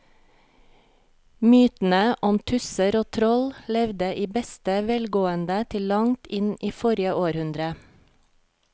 Mytene om tusser og troll levde i beste velgående til langt inn i forrige århundre.